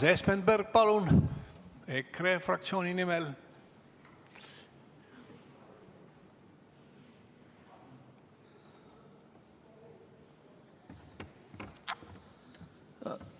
Urmas Espenberg, palun, EKRE fraktsiooni nimel!